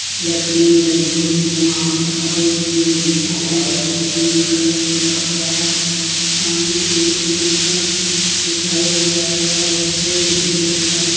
लकड़ी लगी हुई है वहां पर और एक बिल्डिंग जो है उस पर ग्रीन कलर पुता हुआ है सामने एक लड़का दिखाई दे रहा है और एक बोर्ड भी लटका है।